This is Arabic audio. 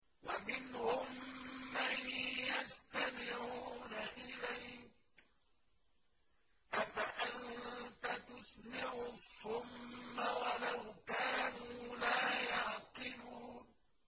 وَمِنْهُم مَّن يَسْتَمِعُونَ إِلَيْكَ ۚ أَفَأَنتَ تُسْمِعُ الصُّمَّ وَلَوْ كَانُوا لَا يَعْقِلُونَ